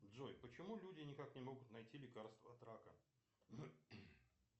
джой почему люди никак не могут найти лекарство от рака